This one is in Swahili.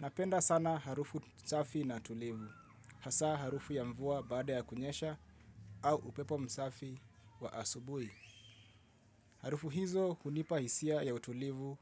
Napenda sana harufu msafi na tulivu, hasa harufu ya mvua baada ya kunyesha au upepo msafi wa asubuhi. Harufu hizo hunipa hisia ya utulivu